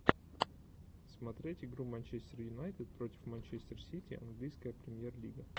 смотреть игру манчестер юнайтед против манчестер сити английская премьер лига